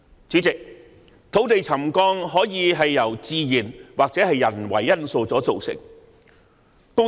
主席，土地沉降可以是由自然或人為因素所造成。